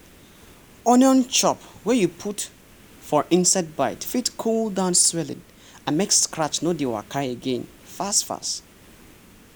onion chop wey you put for insect bite fit cool down swelling and make scratch no dey waka again fast-fas